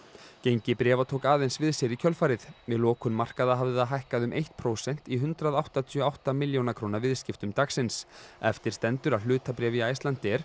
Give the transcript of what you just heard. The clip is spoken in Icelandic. gengi bréfa tók aðeins við sér í kjölfarið við lokun markaða hafði það hækkað um eitt prósent í hundrað áttatíu og átta milljóna króna viðskiptum dagsins eftir stendur að hlutabréf í Icelandair